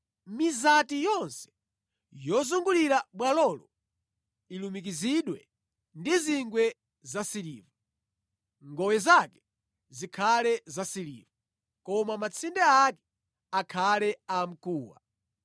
Mizati yonse yozungulira bwalolo ilumikizidwe ndi zingwe zasiliva. Ngowe zake zikhale zasiliva, koma matsinde ake akhale amkuwa.